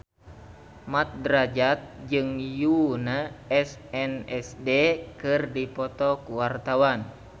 Mat Drajat jeung Yoona SNSD keur dipoto ku wartawan